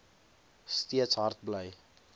steeds hard bly